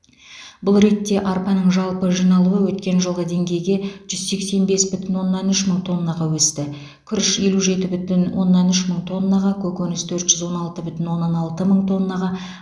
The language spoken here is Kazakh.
бұл ретте арпаның жалпы жиналуы өткен жылғы деңгейге жүз сексен бес бүтін оннан үш мың тоннаға өсті күріш елу жеті бүтін оннан үш мың тоннаға көкөніс төрт жүз он алты бүтін оннан алты мың тоннаға